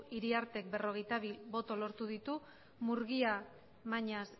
iriarte berrogeita bi boto lortu ditu murguia mañas